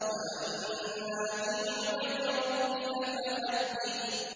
وَأَمَّا بِنِعْمَةِ رَبِّكَ فَحَدِّثْ